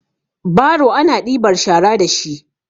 baro ana ɗibar shara da shi